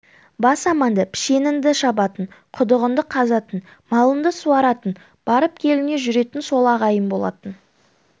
бас аманда пішеніңді шабатын құдығыңды қазатын малыңды суаратын барып-келіңе жүретін сол ағайын болатын